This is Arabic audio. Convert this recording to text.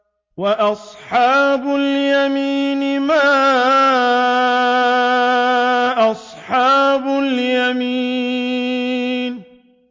وَأَصْحَابُ الْيَمِينِ مَا أَصْحَابُ الْيَمِينِ